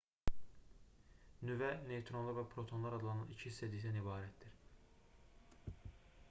nüvə neytronlar və protonlar adlanan iki hissəcikdən ibarətdir